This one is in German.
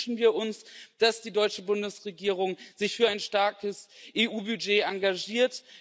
Deshalb wünschen wir uns, dass sich die deutsche Bundesregierung für ein starkes EU Budget engagiert.